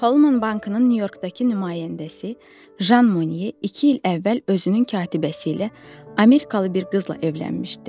Holman bankının Nyu Yorkdakı nümayəndəsi Jan Mone iki il əvvəl özünün katibəsi ilə, Amerikalı bir qızla evlənmişdi.